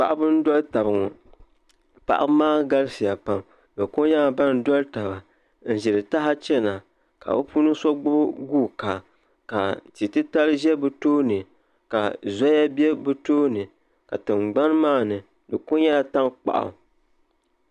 Paɣaba n doli taba bi galisiya pam n ʒiri taha chɛna ka bi puuni so gbubi guuka ka tia titali ʒɛ bi tooni ka zoya bɛ bi tooni ka tingbani maa ni di ku nyɛla tankpaɣu